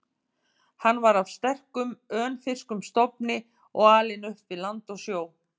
Hann var af sterkum, önfirskum stofni og alinn upp við land og sjó.